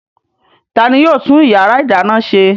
Ta ni yóò tún ìyàrá-ìdáná ṣe?